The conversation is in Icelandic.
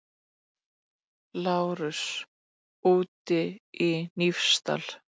LÁRUS: Úti í Hnífsdal!